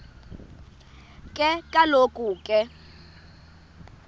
ke kaloku ke